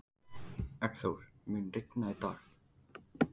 Eggþór, mun rigna í dag?